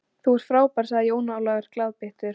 Þú ert fábær, sagði Jón Ólafur glaðbeittur.